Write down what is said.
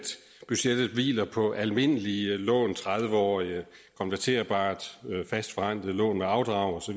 budgettet hviler på almindelige tredive årige konverterbare fastforrentede lån med afdrag osv